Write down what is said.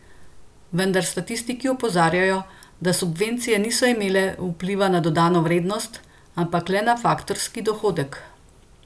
Vendar statistiki opozarjajo, da subvencije niso imele vpliva na dodano vrednost, ampak le na faktorski dohodek.